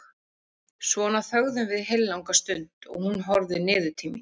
Svona þögðum við heillanga stund og þú horfðir niður til mín.